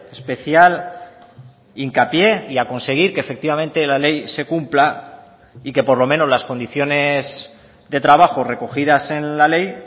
especial hincapié y a conseguir que efectivamente la ley se cumpla y que por lo menos las condiciones de trabajo recogidas en la ley